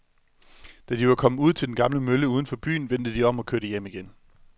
Da de var kommet ud til den gamle mølle uden for byen, vendte de om og kørte hjem igen.